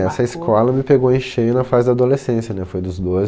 Essa escola me pegou em cheio na fase da adolescência, né, foi dos doze